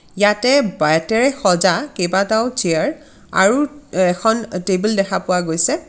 ইয়াতে বেইতেৰে সজা কেইবাটাও চিয়াৰ আৰু অ এখন অ টেবল দেখা পোৱা গৈছে।